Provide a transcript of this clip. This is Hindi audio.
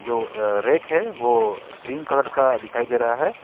वो अह रैक है वो ग्रीन कलर का दिखाई दे रहा है।